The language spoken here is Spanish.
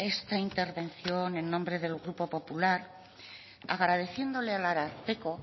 esta intervención en nombre del grupo popular agradeciéndole al ararteko